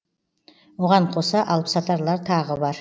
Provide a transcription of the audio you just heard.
оған қоса алыпсатарлар тағы бар